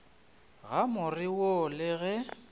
ga more wo le ge